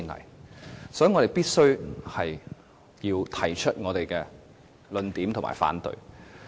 因此，我們必須提述我們的論點和提出反對。